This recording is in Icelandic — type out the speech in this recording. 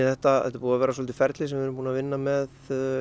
þetta er búið að vera ferli sem við höfum unnið með